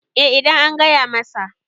eh idan an gaya masa